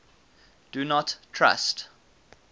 do not trust